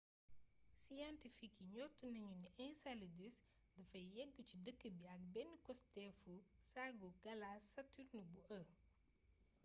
siyentifik yi njort nañu ni enceladus dafay yëggu ci dëkk bi ak benn costéefu saagu galaas saturne bu e